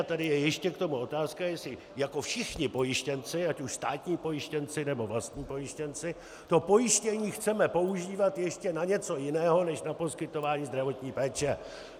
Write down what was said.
A tady je ještě k tomu otázka, jestli jako všichni pojištěnci, ať už státní pojištěnci, nebo vlastní pojištěnci, to pojištění chceme používat ještě na něco jiného než na poskytování zdravotní péče.